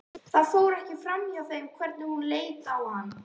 Það fór ekki framhjá þeim hvernig hún leit á hann.